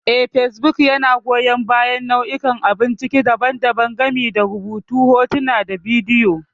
Eh, facebook yana goyan bayan nau'ikan abun ciki daban-daban, gami da rubutu, hotuna, da bidiyo.